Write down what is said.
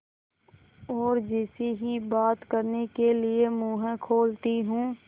और जैसे ही बात करने के लिए मुँह खोलती हूँ